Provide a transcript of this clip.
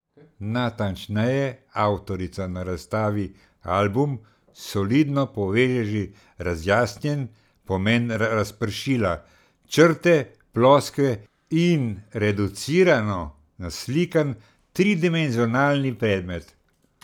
Natančneje, avtorica na razstavi Album solidno poveže že razjasnjen pomen razpršila, črte, ploskve in reducirano naslikan tridimenzionalni predmet.